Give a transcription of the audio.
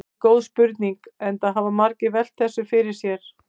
Þetta er góð spurning enda hafa margir velt þessu fyrir sér.